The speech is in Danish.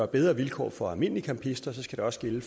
bedre vilkår for almindelige campister skal det også gælde i